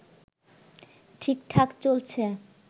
ঠিকঠাক চলছে